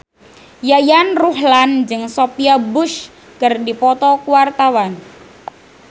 Yayan Ruhlan jeung Sophia Bush keur dipoto ku wartawan